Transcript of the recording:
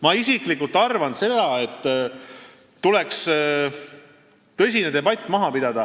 Ma isiklikult arvan, et tuleks maha pidada tõsine debatt.